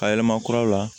A yɛlɛma kuraw la